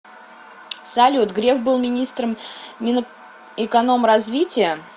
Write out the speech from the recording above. салют греф был министром минэкономразвития